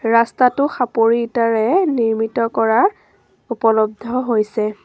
ৰাস্তাটো সাপৰি ইটাৰে নিৰ্মিত কৰা উপলব্ধ হৈছে।